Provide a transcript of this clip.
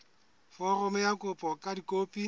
foromo ya kopo ka dikopi